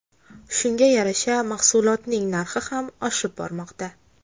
Shunga yarasha mahsulotning narxi ham oshib bormoqda.